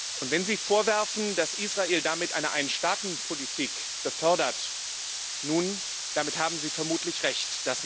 Und wenn Sie den Vorwurf erheben, dass Israel damit eine Einstaatenpolitik befördert nun, damit haben Sie vermutlich Recht.